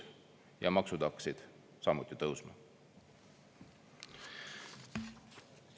" Ja maksud hakkasid samuti tõusma.